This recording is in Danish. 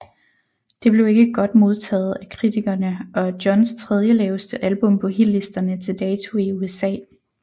Det blev ikke godt modtaget af kritikerne og er Johns tredje laveste album på hitlisterne til dato i USA